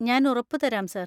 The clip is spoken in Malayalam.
ഞാൻ ഉറപ്പു തരാം സാർ.